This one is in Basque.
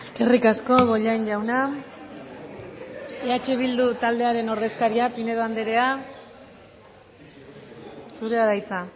eskerrik asko bollain jauna eh bildu taldearen ordezkaria pinedo andrea zurea da hitza